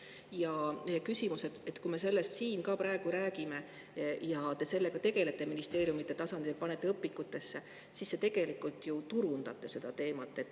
Ja meie on, et kui me sellest siin praegu räägime ning te tegelete sellega ministeeriumi tasandil ja panete seda õpikutesse, siis te tegelikult ju turundate seda teemat.